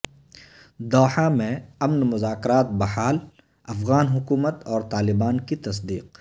Doha میں امن مذاکرات بحال افغان حکومت اور طالبان کی تصدیق